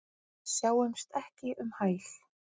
Sjáumst ekki um hæl.